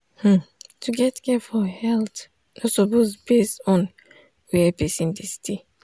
hmm to get care for health no suppose base on where person dey stay.